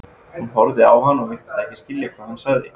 Hún horfði á hann og virtist ekki skilja hvað hann sagði.